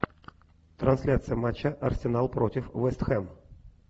трансляция матча арсенал против вест хэм